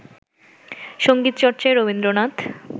সঙ্গীতচর্চায় Rabindranath